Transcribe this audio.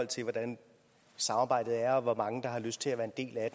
til hvordan samarbejdet er og hvor mange der har lyst til at være en del af